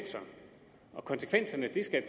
og konsekvenserne skal